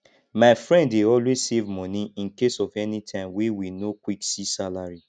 my friend dey always save money incase of anytime wey we no quick see salary